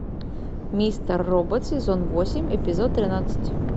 мистер робот сезон восемь эпизод тринадцать